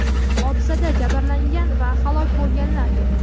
hodisada jabrlangan va halok bo‘lganlar yo‘q.